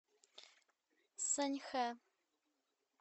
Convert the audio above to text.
саньхэ